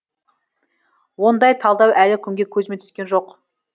ондай талдау әлі күнге көзіме түскен жоқ